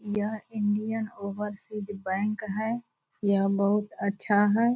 यह Indian Overseas Bank है यह बहुत अच्छा है।